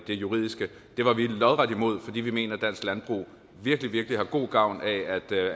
det juridiske det var vi lodret imod fordi vi mener at dansk landbrug virkelig virkelig har god gavn af